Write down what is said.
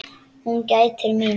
Hann gætir mín.